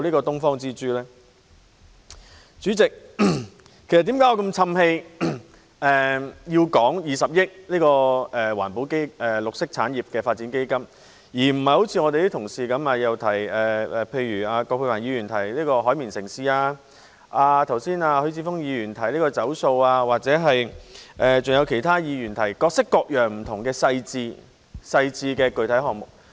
代理主席，為何我這麼長氣，討論20億元綠色產業發展基金，而不是如葛珮帆議員般提到"海綿城市"、如許智峯議員般提到"走塑"，或如其他議員般提出各式各樣不同的細緻具體項目？